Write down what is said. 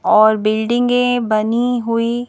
और बिल्डिंगें बनी हुई--